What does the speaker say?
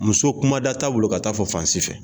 Muso kuma da t'a bolo ka t'a fɔ fan si fɛ.